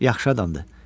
Yaxşı adamdır.